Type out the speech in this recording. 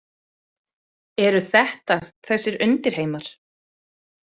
Eru þetta þessir undirheimar?